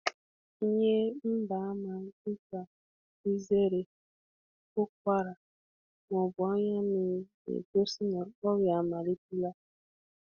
Ihe ngosi dịka ịtụ ụfụ, iku ume, maọbụ anya ume, maọbụ anya mmiri na-egosi mmalite ọrịa.